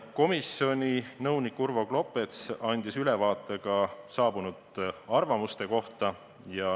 Komisjoni nõunik Urvo Klopets andis ülevaate saabunud arvamustest.